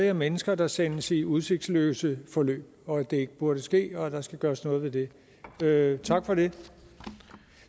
er mennesker der sendes i udsigtsløse forløb og at det ikke burde ske og at der skal gøres noget ved det tak for det